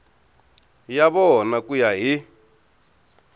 ya vona ku ya hi